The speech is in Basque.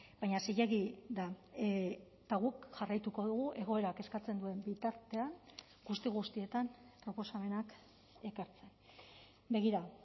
baina zilegi da eta guk jarraituko dugu egoerak eskatzen duen bitartean guzti guztietan proposamenak ekartzen begira